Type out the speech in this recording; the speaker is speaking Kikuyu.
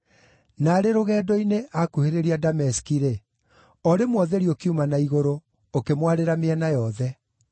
Naarĩ rũgendo-inĩ aakuhĩrĩria Dameski-rĩ, o rĩmwe ũtheri ũkiuma na igũrũ, ũkĩmwarĩra mĩena yothe.